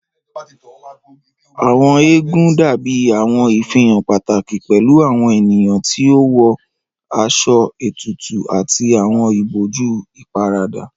Àwọn eégún dabi awọn ifihan pataki pẹlu awọn eniyan ti o wọ aṣọ tutu ati awọn iboju iparada.